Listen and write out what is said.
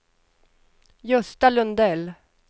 Gösta Lundell